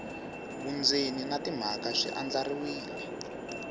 vundzeni na timhaka swi andlariwile